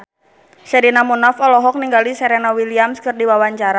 Sherina Munaf olohok ningali Serena Williams keur diwawancara